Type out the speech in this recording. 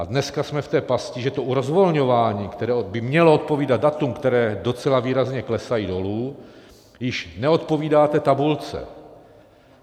A dneska jsme v té pasti, že to rozvolňování, které by mělo odpovídat datům, která docela výrazně klesají dolů, již neodpovídá té tabulce.